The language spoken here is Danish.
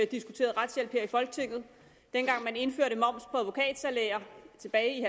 diskuteret retshjælp her i folketinget dengang man indførte moms på advokatsalærer tilbage i